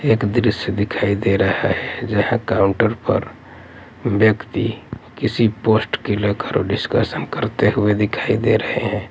एक दृश्य दिखाई दे रहा है जहां काउंटर पर व्यक्ति किसी पोस्ट के लेकर डिस्कशन करते हुए दिखाई दे रहे हैं।